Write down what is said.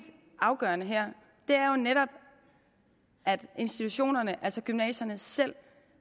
afgørende her er jo netop at institutionerne altså gymnasierne selv